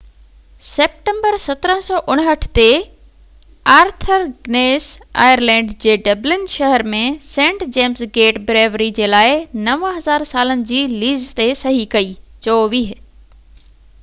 24 September 1759 تي، Arthur Guinness Ireland جي Dublin شهر ۾ سينٽ جيمز گيٽ بريوري جي لاءِ 9،000 سالن جي ليز تي صحي ڪئي